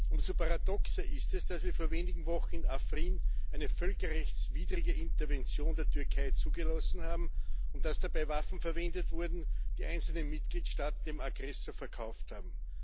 Umso paradoxer ist es, dass wir vor wenigen Wochen in Afrin eine völkerrechtswidrige Intervention der Türkei zugelassen haben und dass dabei Waffen verwendet wurden, die einzelne Mitgliedstaaten dem Aggressor verkauft haben.